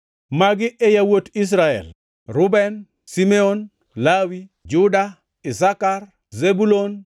Magi e yawuot Israel: Reuben, Simeon, Lawi, Juda, Isakar, Zebulun,